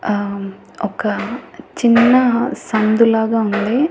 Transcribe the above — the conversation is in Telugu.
ఆ ఒక చిన్న సందు లాగా ఉంది.